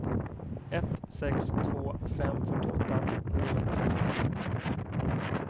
ett sex två fem fyrtioåtta niohundrafemtioåtta